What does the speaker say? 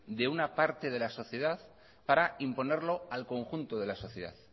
de una parte de la sociedad para imponerlo al conjunto de la sociedad